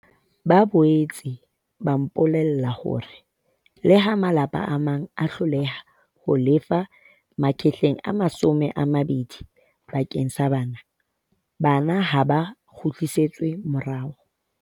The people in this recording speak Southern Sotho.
Ba boetse ba mpolella hore leha malapa a mang a hloleha ho lefa R20 bakeng sa bana, bana ha ba kgutlisetswe morao.